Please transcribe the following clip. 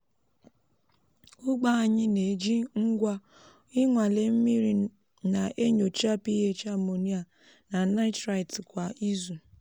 ugbo anyị na-eji ngwa inwale mmiri na-enyocha ph ammonia na nitrite kwa izu.